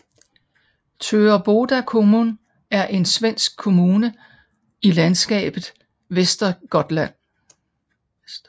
Töreboda kommun er en svensk kommune i landskabet Västergötland